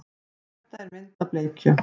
Þetta er mynd af bleikju.